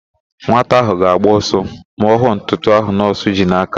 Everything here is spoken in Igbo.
Nwata ahụ ga-agba ọsọ ma ọ hụ ntụtụ ahụ nọọsụ ji n'aka.